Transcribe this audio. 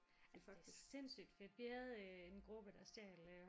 Altså det er sindssygt fedt vi have en gruppe der stjal